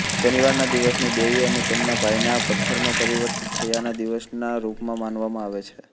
શનિવારના દિવસને દેવી અને તેમના ભાઈના પથ્થરમાં પરિવર્તિત થયાના દિવસના રૂપમાં મનાવવામાં આવે છે